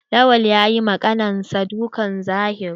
Lawan yayi ma ƙanin sa dukan zahiri.